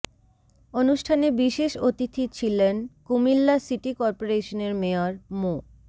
অনুষ্ঠানে বিশেষ অতিথি ছিলন কুমিল্লা সিটি করপোরেশনের মেয়র মো